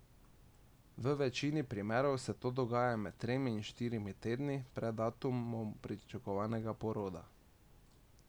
V večini primerov se to dogaja med tremi in štirimi tedni pred datumom pričakovanega poroda.